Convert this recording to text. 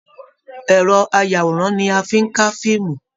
Ẹrọ ayàwòrán ní a fí n ká fíìmù.